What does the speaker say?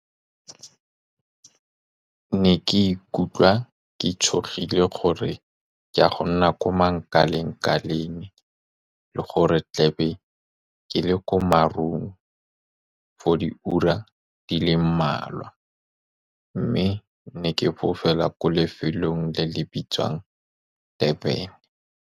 Ke ne ke ikutlwa ke tshogile, gore ke ya go nna ko mankaleng-kaleng, le gore tlabe ke le ko marung for diura di le mmalwa, mme ne ke fofela ko lefelong le le bitswang Durban.